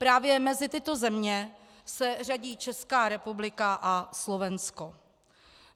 Právě mezi tyto země se řadí Česká republika a Slovensko.